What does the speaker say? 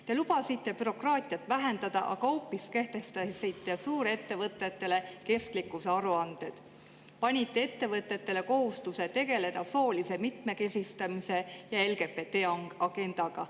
Te lubasite bürokraatiat vähendada, aga hoopis kehtestasite suurettevõtetele kestlikkusaruanded, panite ettevõtetele kohustuse tegeleda soolise mitmekesistamise ja LGBT‑agendaga.